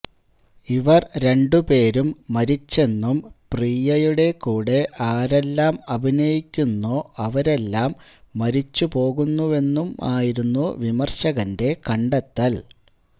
ഇവർ രണ്ടു പേരും മരിച്ചെന്നും പ്രിയയുടെ കൂടെ ആരെല്ലാം അഭിനയിക്കുന്നോ അവരെല്ലാം മരിച്ചു പോകുന്നുവെന്നുംമായിരുന്നു വിമർശകന്റെ കണ്ടെത്തൽ